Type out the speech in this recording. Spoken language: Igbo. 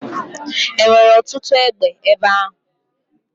E nwere ọtụtụ egbe ebe ahụ?